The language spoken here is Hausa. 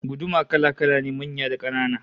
Guduma kala-kala ne, manya da kanana